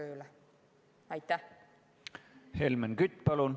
Helmen Kütt, palun!